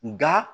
Nka